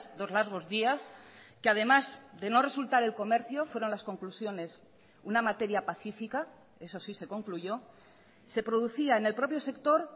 dos largos días que además de no resultar el comercio fueron las conclusiones una materia pacífica eso sí se concluyó se producía en el propio sector